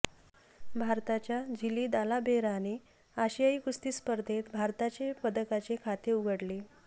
भारताच्या झिली दालाबेहेराने आशियाई कुस्ती स्पर्धेत भारताचे पदकांचे खाते उघडले